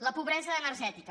la pobresa energètica